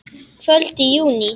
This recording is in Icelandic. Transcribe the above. Kvöld í júní.